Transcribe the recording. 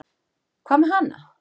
Hvað með hana?